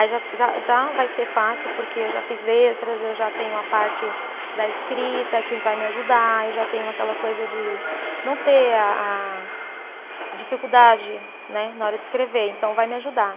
Aí já já já vai ser fácil, porque eu já fiz letras, eu já tenho a parte da escrita que vai me ajudar, eu já tenho aquela coisa de não ter a a dificuldade, né, na hora de escrever, então vai me ajudar.